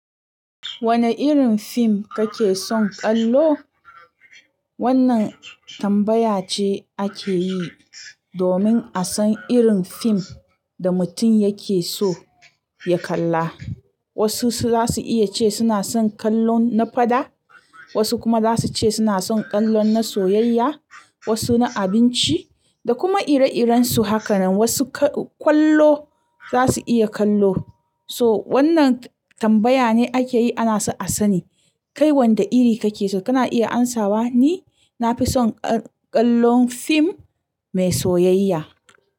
Wane irin fim kake son kallo? Wannan tambaya ce ake yi domin a san irin fim da mutum yake so ya kalla. Wasu za su iya ce suna son kallon na faɗa, wasu kuma za su ce suna son kallon na soyayya, wasu na abinci da kuma ire-irensu hakanan. Wasu kwallo za su iya kallo. So wannan tambaya ne ake yi ana so a sani kai wanda iri kake so. Kana iya amsawa ni, na fi son kallon fim mai soyayya.